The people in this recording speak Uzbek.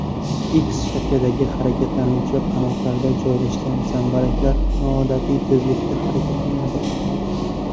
X shaklidagi harakatlanuvchi qanotlarda joylashgan zambaraklar noodatiy tezlikda harakatlanadi.